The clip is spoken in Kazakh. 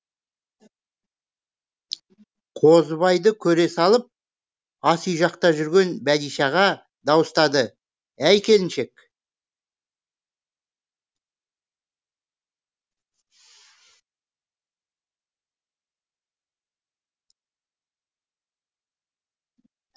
қозыбайды көре салып ас үй жақта жүрген бәдишаға дауыстады әй келіншек